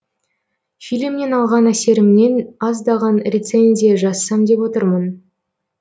фильмнен алған әсерімнен аздаған рецензия жазсам деп отырмын